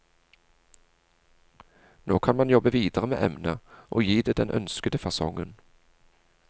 Nå kan man jobbe videre med emnet, og gi det den ønskede fasongen.